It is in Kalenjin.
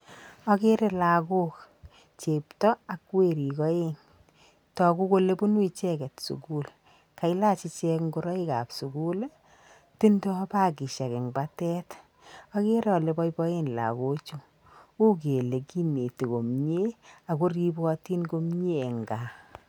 Akere lagook chepto ak werik aeng, toku kole bunu icheket sukul, kailach ichek ngoroikab sukul, tindoi bakishek eng batet, akere ale boiboen lagochu uu kele kineti komie ak koripotin komie eng gaa.